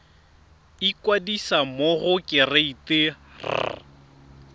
ikwadisa mo go kereite r